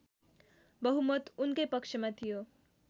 बहुमत उनकै पक्षमा थियो